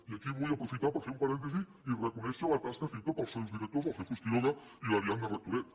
i aquí vull aprofitar per fer un parèntesi i reconèixer la tasca feta pels seus directors el jesús quiroga i l’ariadna rectoret